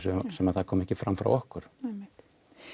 sem það kom ekki fram hjá okkur einmitt